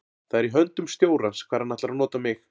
Það er í höndum stjórans hvar hann ætlar að nota mig.